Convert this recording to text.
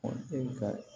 e ka